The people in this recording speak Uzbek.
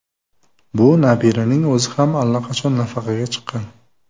Bu nabiraning o‘zi ham allaqachon nafaqaga chiqqan.